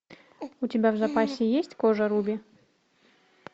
у тебя в запасе есть кожа руби